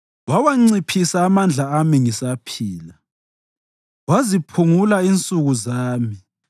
Wawanciphisa amandla ami ngisaphila; waziphungula insuku zami.